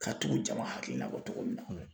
Ka tugu jama hakilila kɔ cogo min na.